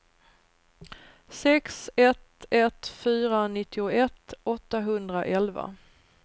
sex ett ett fyra nittioett åttahundraelva